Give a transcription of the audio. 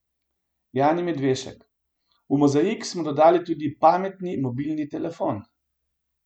Jani Medvešek: 'V mozaik smo dodali tudi pametni mobilni telefon.